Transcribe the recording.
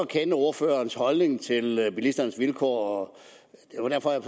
kender ordførerens holdning til hvordan bilisternes vilkår